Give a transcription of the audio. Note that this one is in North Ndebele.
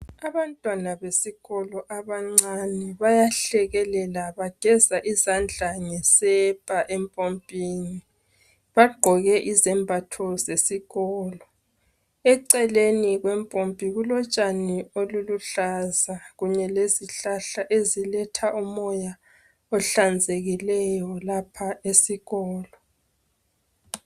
Abantwana abancane besikolo bayahlekelela .Bangeza izandla ngesepa empompini Bagqoke izembatho zesikolo. Eceleni kwempompi kulotshani oluluhlaza. kunye lezihlahla eziletha umoya ehlanzekileyo lapha esikolo .